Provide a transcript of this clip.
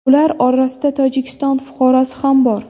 Ular orasida Tojikiston fuqarosi ham bor.